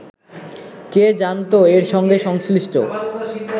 কে জানত এর সঙ্গে সংশ্লিষ্ট